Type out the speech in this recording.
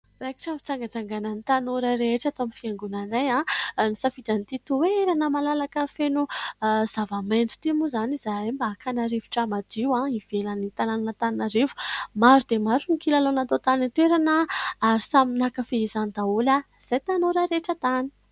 Raikitra ny fitsangatsanganan'ny tanora rehetra ato amin'ny fiangonanay. Nisafidy an'ity toerana malalaka feno zava-maitso ity moa izany izahay mba hakàna rivotra madio ivelan'ny tanana an'Anantananarivo. Maro dia maro ny kilalao natao tany an-toerana ary samy nankafy izany daholo izahay tanora rehetra tany.